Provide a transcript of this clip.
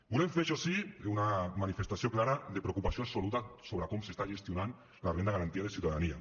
volem fer això sí una manifestació clara de preocupació absoluta sobre com s’està gestionant la renda garantida de ciutadania